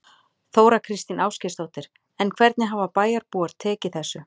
Þóra Kristín Ásgeirsdóttir: En hvernig hafa bæjarbúar tekið þessu?